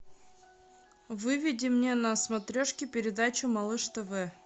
выведи мне на смотрешке передачу малыш тв